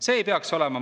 Nii ei peaks olema.